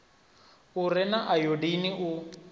u re na ayodini u